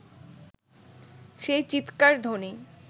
সেই চীৎকার-ধ্বনি